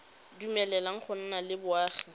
dumeleleng go nna le boagi